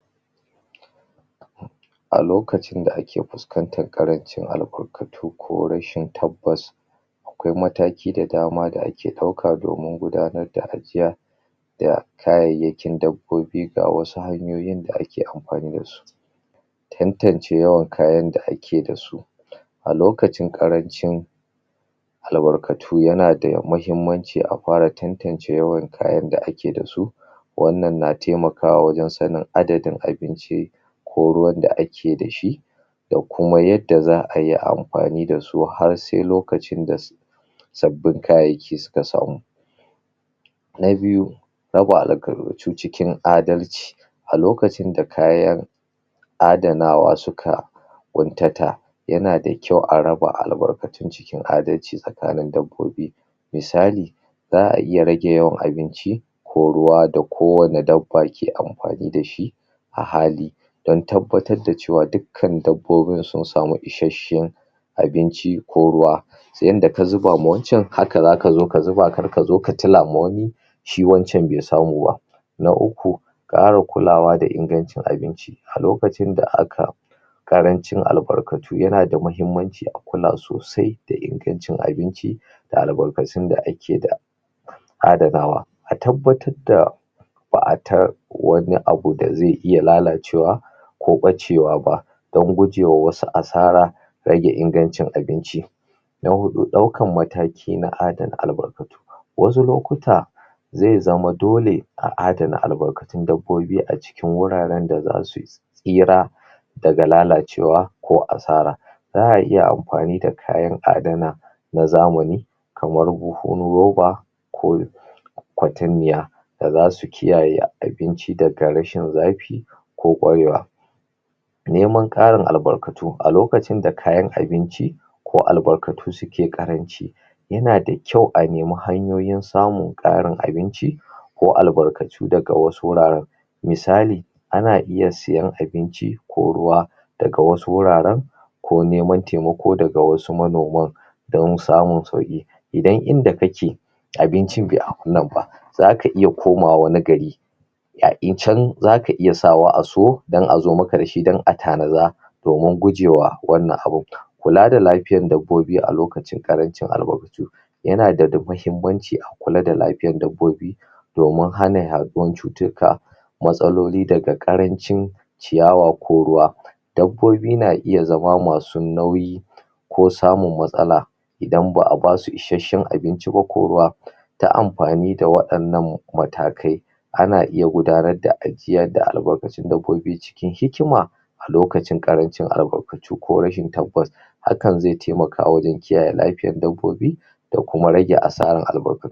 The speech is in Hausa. a lokacin da ake fuskantar ƙarancin albarkatu ko rashin tabbas akwai mataki da dama da ake ɗauka domin gudanar da ajiya ga kayayyakin dabbobi ga wasu hanyoyin da ake amfani dashi tantance yawan kayan da ake dasu a lokacin ƙarancin albarkatu yana da mahimmanci a fara tantance yawan kayan da ake dasu wannan na taimakawa wajan sanin adadin abinci ko ruwan da ake dashi da kuma yadda za ai amfani dasu har sai lokacin dasu sabbin kayayyaki suka samu na biyu raba albarkatu cikin adalci a lokacin da kayan adanawa suka ƙuntata yana da kyau a raba albarkatun cikin adalci tsakanin dabbobi misali za a iya rage yawan abinci ko ruwa da kowanne dabba ke amfani dashi a hali dan tabbatar da cewa duk kan dabbobin sun samu ishasshan abinci ko ruwa yanda ka zubama wancan haka zaka zo ka zuba karkazo ka tilama wani shi wancan be samuba na uku ƙara kulawa da ingancin abinci a lokacin da aka ƙarancin albarkatu yana da mahimmanci a kula sosai da ingancin abinci da albarkacin da ake da adanawa a tabbatar da ta wani abu da zai iya lalacewa ko ɓacewa ba dan gujewa wasu asara rage ingancin abinci na huɗu ɗaukan mataki na adana albarkatu wasu lokuta zai zama dole a adana albarkatun dabbobi a cikin wuraran da zasu cira daga lalacewa ko asara za a iya amfani da kayan adana na zamani kamar bubun roba ko ƙwatammiya da zasu kiyaye abinci da da rashin zafi ko rashin zafi ko neman ƙarin albarkatu a lokacin da kayan abinci ko albarkatu suke ƙaranci yana da kyau a neme hanyoyin samun ƙarin abinci ko albarkatu daga wasu guraran misali ana iya siyan abinci ko ruwa daga wasu wuraran ko nemen taimako daga wasu manoman dan samun sauki idan inda kake abincin be zaka iya komawa wani gari zaka iya sawa a siyo dan azo maka dashi dan a tanada domin gujewa wannan abun kula da lafiyar dabbobi a lokacin ƙarancin albarkatun yana da mahimmanci a kula da lafiyan dabbobi domin hana ya ɗuwan cututtuka matsaloli daga ƙarancin ciyawa ko ruwa dabbobi na iya zama masu nauyi ko samun matsala idan ba a basu ishasshan abinci ba ko ruwa ta amfani da waɗannan matakai ana iya gudanar da ajiyar da albarkatu dabbobi cikin hikima a lokacin ƙarancin albarkatu ko rashin tabbas hakan zai taimaka wajan kiyaye lafiyan dabbobi da kuma rage asaran albarkatu